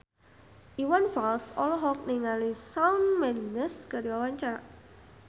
Iwan Fals olohok ningali Shawn Mendes keur diwawancara